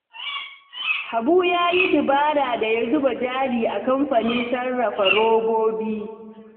Habu ya yi dabara da ya zuba jari a kamfanin sarrafa robobi